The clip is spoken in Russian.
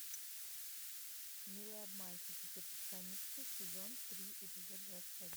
милые обманщицы перфекционистки сезон три эпизод двадцать один